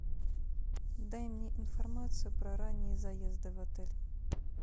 дай мне информацию про ранние заезды в отель